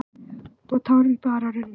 Og tárin bara runnu.